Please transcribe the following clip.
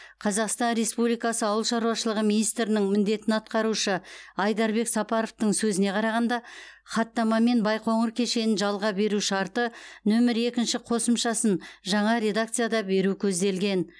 қазақстан республикасы ауыл шаруашылығы министрінің міндетін атқарушы айдарбек сапаровтың сөзіне қарағанда хаттамамен байқоңыр кешенін жалға беру шарты нөмір екінші қосымшасын жаңа редакцияда беру көзделген